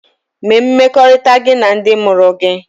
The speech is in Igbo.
Mee mmekọrịta gị na ndị mụrụ gị!